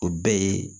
O bɛɛ ye